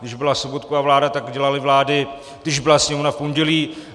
Když byla Sobotkova vláda, tak dělali vlády, když byla sněmovna, v pondělí.